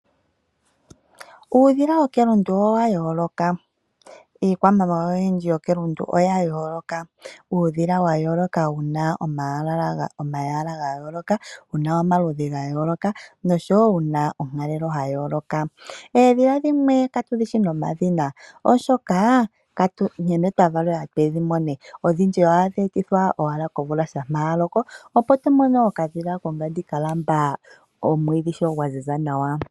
Uudhila wokelundu owa yooloka. Iikwamawawa oyindji yokelundu oya yooloka. Uudhila wayooloka wuna omalwaala, wuna omaludhi noshowo wuna onkalelo yayooloka. Oodhila dhimwe katu dhishi nomadhina oshoka nkene twa valelwe tudhi mone shampa omvula yaloka opo to mono okadhila ka lamba omwiidhi gwaziza nawa.